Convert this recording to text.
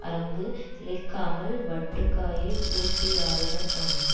அரங்கு இழைக்காமல் வட்டுக்காயை உருட்டிஆடினர் போன்றது